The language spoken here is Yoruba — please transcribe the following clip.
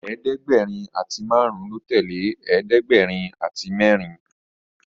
ẹ̀ẹ́dẹ̀gbẹ̀rin àti márùn lọ tẹlẹ ẹ̀ẹ́dẹ̀gbẹ̀rin àti mérin